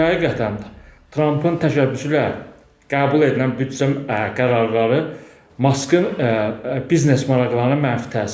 Çünki həqiqətən də Trampın təşəbbüsü ilə qəbul edilən büdcə qərarları Maskın biznes maraqlarına mənfi təsir edir.